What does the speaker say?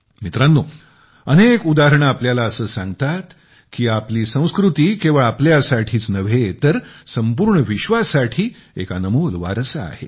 मित्रांनो अनेक उदाहरणे आपल्याला असे सांगतात की आपली संस्कृती केवळ आपल्यासाठीच नव्हे तर संपूर्ण विश्वासाठी एक अनमोल वारसा आहे